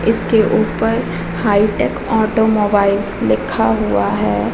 इसके ऊपर hi tech automobiles लिखा हुआ है।